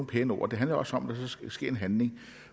pæne ord det handler også om at der så skal ske en handling